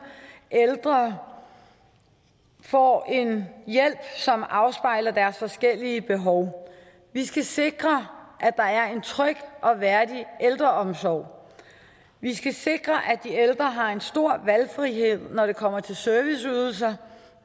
ældre får en hjælp som afspejler deres forskellige behov vi skal sikre at der er en tryg og værdig ældreomsorg vi skal sikre at de ældre har en stor valgfrihed når det kommer til serviceydelser